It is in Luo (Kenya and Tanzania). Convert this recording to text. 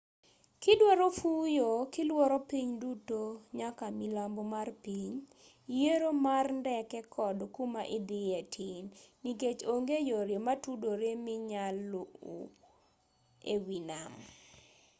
kidwaro fuyo kiluoro piny duto nyaka milambo mar piny yiero mar ndeke kod kumaidhiye tin nikech onge yore matudore minyal lu ewii nam